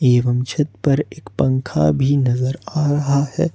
एवं छत पर एक पंखा भी नजर आ रहा है।